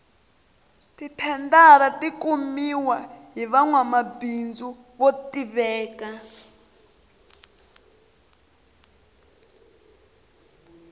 ti thendara ti kumiwa hi vanwamabindzu vo tiveka